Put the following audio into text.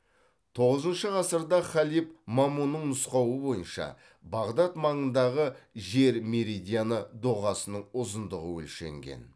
тоғызыншы ғасырда халиф мамунның нұсқауы бойынша бағдат маңындағы жер меридианы доғасының ұзындығы өлшенген